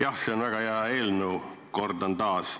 Jah, see on väga hea eelnõu, kordan taas.